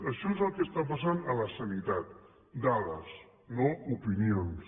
això és el que està passant a la sanitat dades no opinions